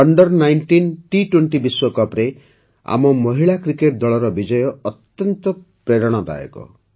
under ୧୯ ଟି୨୦ ବିଶ୍ୱକପ୍ରେ ଆମ ମହିଳା କ୍ରିକେଟ୍ ଦଳର ବିଜୟ ଅତ୍ୟନ୍ତ ପ୍ରେରଣାଦାୟକ